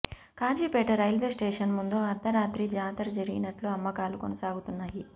Kazipet railway station ముందు అర్థరాత్రి జాతర జరిగినట్లు అమ్మకాలు కొనసాగుతున్నా యి